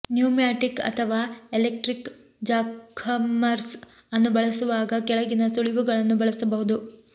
pneumatic ಅಥವಾ electric jackhammers ಅನ್ನು ಬಳಸುವಾಗ ಕೆಳಗಿನ ಸುಳಿವುಗಳನ್ನು ಬಳಸಬಹುದು